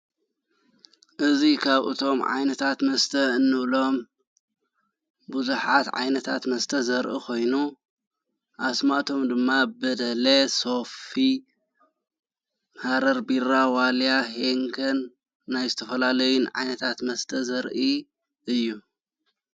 እዙይ ኻብ እቶም ዓይነታት መስተ እኖኡሎም ብዙኃት ዓይነታት መስተ ዘርኢ ኾይኑ ኣስማቶም ድማ በድለየ ሶፊ ሃረር ቢራ ዋልያ ሄንከን ናይ ዝተፈላለይን ዓይነታት መስተ ዘርኢ እዩ።